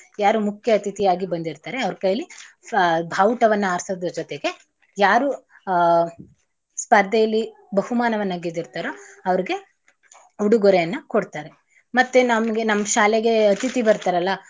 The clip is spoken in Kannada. ಯಾರು ಮುಖ್ಯ ಅತಿಥಿ ಆಗಿ ಬಂದಿರ್ತಾರೆ ಅವ್ರ್ ಕೈಲಿ ಆಹ್ ಭಾವುಟವನ್ನ ಆರ್ಸೋದ್ರ ಜೋತೆಗೆ ಯಾರು ಆಹ್ ಸ್ಪರ್ಧೆಲಿ ಬಹುಮಾನವನ್ನ ಗೆದ್ದಿರ್ತಾರೋ ಅವ್ರ್ಗೆ ಉಡುಗೊರೆಯನ್ನ ಕೊಡ್ತಾರೆ ಮತ್ತೇ ನಮ್ಗೆ ನಮ್ ಶಾಲೆಗೆ ಅತಿಥಿ ಬರ್ತಾರಲ್ಲ.